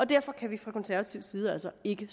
derfor kan vi fra konservativ side altså ikke